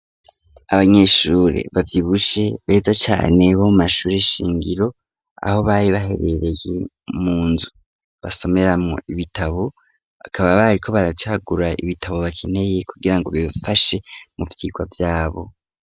Abanyeshuri bavyibushe beza cane bo mashuri shingiro, aho bari baherereye mu nzu basomeramwo ibitabo, bakaba barikoo baracagura ibitabo bakeneye kugira ngo bibafashe mu vyigwa vyabo.